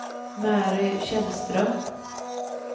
Mary Källström